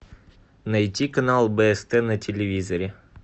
найти канал бст на телевизоре